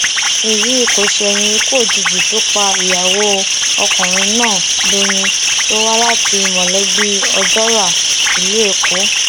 èyí kò ṣẹyìn ikú òjijì tó pa ìyàwó ọkùnrin náà dọyìn tó wá láti mọlẹbí ojora ìlú èkó